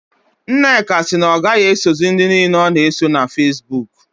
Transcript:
Nneka si na ọ gaghị esozị ndị niile ọ na-eso na Fesbuk